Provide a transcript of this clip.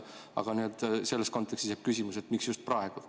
Aga selles kontekstis jääb küsimus, miks just praegu.